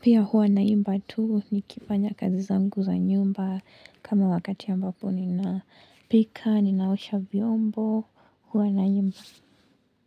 pia huwa naimba tu nikifanya kazi zangu za nyumba kama wakati ambapo ninapika, ninaosha vyombo, huwa naimba.